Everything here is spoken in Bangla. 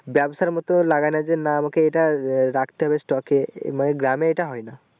ব্যাবসার মতো লাগাইনা যে না ওকে এটারাখতে হবে stock এ মানে গ্রামে এটা হয়না ।